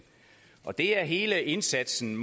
og det er hele indsatsen